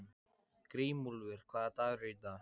Grímúlfur, hvaða dagur er í dag?